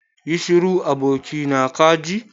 Yi shiru abokina kaji.